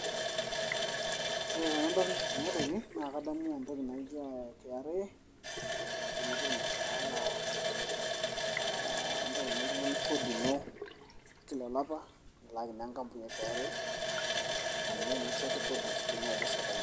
Ore tenadol ena toki naa kadamu entoki naijo KRA ee endung'oto ormushaara aa intayu naa oltung'ani kodi ino kila olapa nilaaki naa enkampuni e KRA aa ninye oshi nasotu kodi te niaba esirkali.